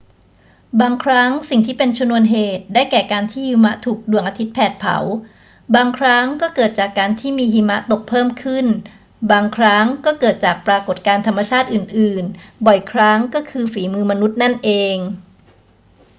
บางครั้งสิ่งที่เป็นชนวนเหตุได้แก่การที่หิมะถูกดวงอาทิตย์แผดเผา บางครั้งก็เกิดจากการที่มีหิมะตกเพิ่มขึ้น บางครั้งก็เกิดจากปรากฏการณ์ธรรมชาติอื่น ๆ บ่อยครั้งก็คือฝีมือมนุษย์นั่นเอง